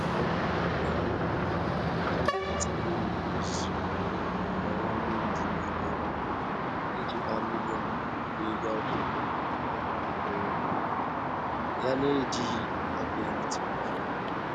Onye ọrụ ugbo ahụ na-anakọta mmiri ozuzo n'ọwa mmiri dị n'elu ụlọ iji gbaa mmiri n'ihe ọkụkụ um ya, n'ejighị ọkụ eletrik.